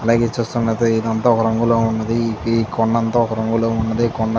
అలాగే చూస్తున్నట్లయితే ఇదంతా ఒక రంగులో ఉన్నది. హి ఈ కొండంతా ఒక రంగులో ఉన్నది. కొండ --